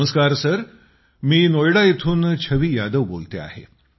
नमस्कार सर मी नोएडा येथून छवी यादव बोलते आहे